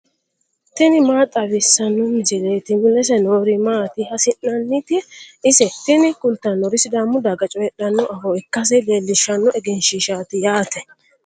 tini maa xawissanno misileeti ? mulese noori maati ? hiissinannite ise ? tini kultannori sidaamu daga coyiidhanno afoo ikkasi leelishanno egenshiishshaati yaate.